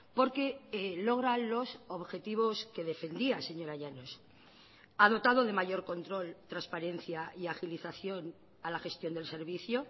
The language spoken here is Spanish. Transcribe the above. porque logra los objetivos que defendía señora llanos ha dotado de mayor control transparencia y agilización a la gestión del servicio